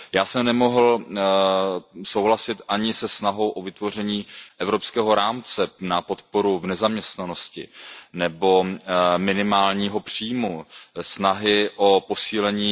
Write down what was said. Já jsem nemohl souhlasit ani se snahou o vytvoření evropského rámce na podporu v nezaměstnanosti nebo minimálního příjmu nebo se snahou o posílení